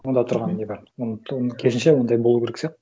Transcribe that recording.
онда тұрған не бар керісінше ондай болу керек сияқты